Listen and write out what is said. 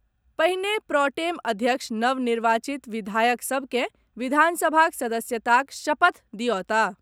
पहिने प्रॉटेम अध्यक्ष नव निर्वाचित विधायक सभ के विधानसभाक सदस्यताक शपथ दियौताह।